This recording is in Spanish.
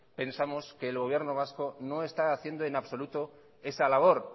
pensamos que el gobierno vasco no está haciendo en absoluto esa labor